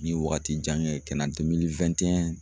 Ne ye waagati jan kɛ ye kana